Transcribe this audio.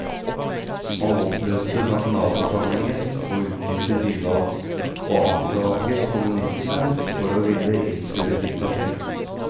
Han oppløste nasjonalforsamlingen og utlyste nyvalg, og anklaget kommunistene for å ville innføre diktatur.